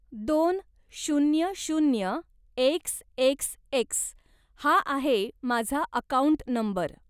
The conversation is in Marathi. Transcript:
दोन शून्य शून्य एक्स एक्स एक्स हा आहे माझा अकाऊंट नंबर.